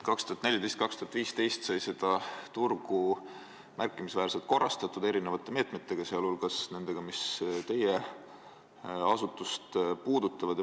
2014–2015 sai seda turgu märkimisväärselt korrastatud erinevate meetmetega, sealhulgas nendega, mis teie asutust puudutavad.